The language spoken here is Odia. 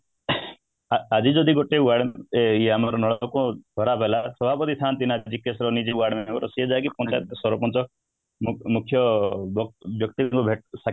ଆଜି ଯଦି ଗୋଟେ ୱାର୍ଡ area ର ନଳକୂପ ଖରାପ ହେଲା ସଭାପତି ଥାନ୍ତି ନା ଯିଏ କି ସେ ନିଜେ ୱାର୍ଡମେମ୍ବର ଗୋଟେ ସିଏ ଯାଇକି ପଞ୍ଚାୟତ, ସରପଞ୍ଚ ମୁଖ୍ ମୁଖ୍ୟ ବ୍ୟକ୍ତି ଙ୍କୁ ଭେଟି